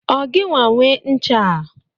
Ọ gịnwa nwee ncha a?